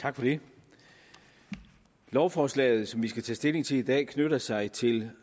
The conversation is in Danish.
tak for det lovforslaget som vi skal tage stilling til i dag knytter sig til